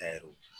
Taar'o